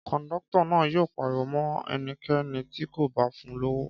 Kọ̀ńdọ́tọ̀ náà yóò pariwo mọ́ ẹnikẹ́ni tí kò bá fun lówó.